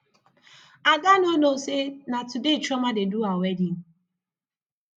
ada no know say na today chioma dey do her wedding